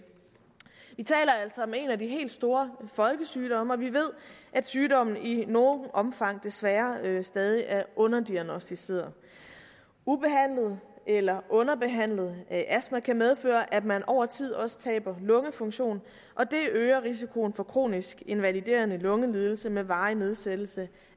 af de helt store folkesygdomme og vi ved at sygdommen i noget omfang desværre stadig er underdiagnosticeret ubehandlet eller underbehandlet astma kan medføre at man over tid også taber lungefunktion og det øger risikoen for kronisk invaliderende lungelidelse med varig nedsættelse